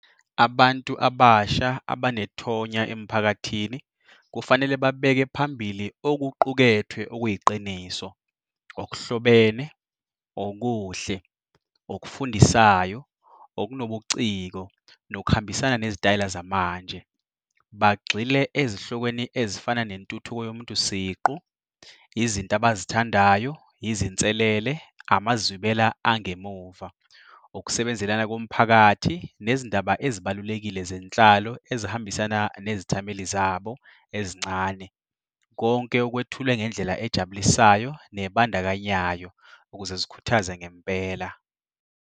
Abantu abasha abanethonya emphakathini kufanele babeke phambili okuqukethwe okuyiqiniso, okuhlobene, okuhle, okufundisayo, okunobuciko nokuhambisana nezitayela zamanje. Bagxile ezihlokweni ezifana nentuthuko yomuntu siqu, izinto abazithandayo, izinselele, amazwibela angemuva, ukusebenzelana komphakathi nezindaba ezibalulekile zenhlalo ezihambisana nezithameli zabo ezincane. Konke okwethulwe ngendlela ejabulisayo nebandakanyayo ukuze zikhuthaze ngempela.